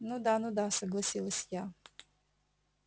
ну да ну да согласилась я